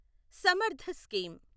Samarth scheme